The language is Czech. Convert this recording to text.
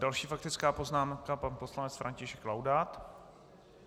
Další faktická poznámka pan poslanec František Laudát.